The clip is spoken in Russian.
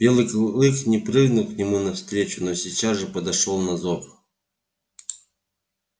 белый клык не прыгнул к нему навстречу но сейчас же подошёл на зов